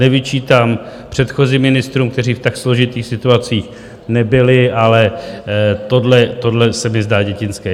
Nevyčítám předchozím ministrům, kteří v tak složitých situacích nebyli, ale tohle se mi zdá dětinské.